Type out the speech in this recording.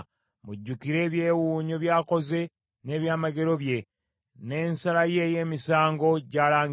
Mujjukire ebyewuunyo by’akoze, n’ebyamagero bye, n’ensala ye ey’emisango gy’alangirira,